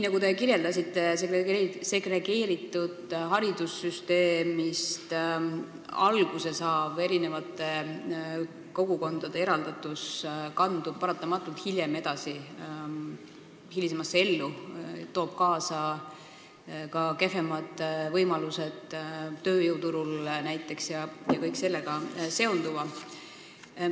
Nagu te ütlesite, segregeeritud haridussüsteemist alguse saav eri kogukondade eraldatus kandub paratamatult hiljem edasi hilisemasse ellu, toob kaasa ka näiteks kehvemad võimalused tööjõuturul ja kõik sellega seonduva.